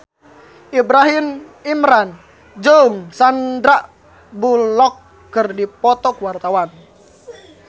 Ibrahim Imran jeung Sandar Bullock keur dipoto ku wartawan